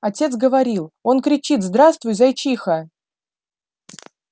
отец говорил он кричит здравствуй зайчиха